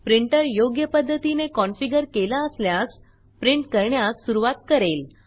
printer योग्य पध्दतीने configureकेला असल्यास प्रिंट करण्यास सुरूवात करेल